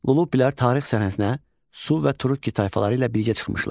Lullubilər tarix səhnəsinə Su və Turukki tayfaları ilə birgə çıxmışdılar.